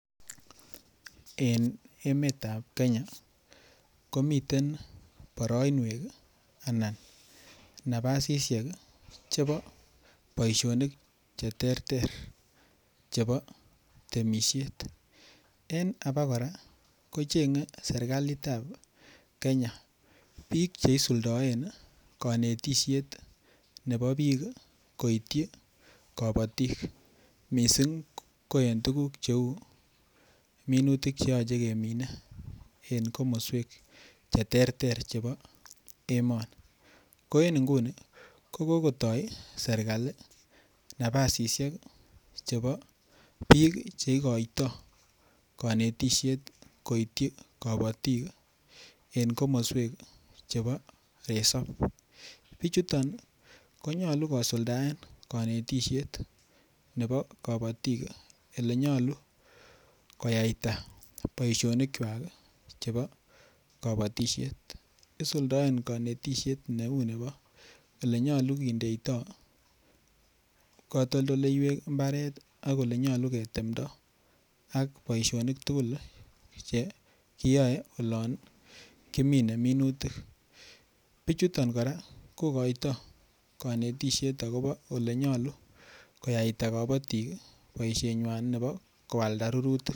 En emetab Kenya komiten boroinwek ana nabasisiek chebo boishonik cheterter chebo temishet en abakora kocheng sirkalitab Kenya bik cheisuldoen boishet nebo bik kii koityi kobotik missing ko en tukuk cheu minutik cheyoche kemine en komoswek cheterter chebo emeoni ko en inguni ko kokoito sirkalit nabasisiek chebo bik cheikoito konetishet koityi kobotik en komoswek chebo resop. Bichuton konyolu kisuldaen konetishet nebo kobotik olenyolu kiyaita boishonik kwak chebo koboishet, isuldoen konetishet neu nebo olenyolu kindeito kotoldoloiwek imbaret ak olenyolu ketemdo ak boishonik tukuk chekiyoen olon kimine minutik. Bichuton koraa kokoito konetishet olenyolu kiyaita kobotik boishenywan nebo kwalda rorutik.